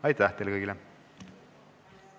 Aitäh teile kõigile!